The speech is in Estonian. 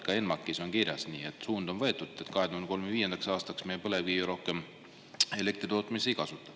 Ka ENMAK-is on kirjas, nii et suund on võetud, et 2035. aastaks me põlevkivi rohkem elektritootmises kasuta.